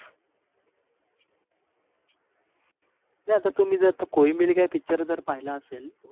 नाही आता तुम्ही जर तो कोई मिल गया पिचर पहिला आसेल